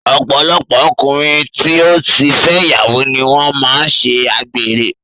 Ọ̀pọ̀lọpọ̀ ọkùnrin tí ó ti fẹ́ ìyàwó ni wọ́n máa ń ṣe àgbèrè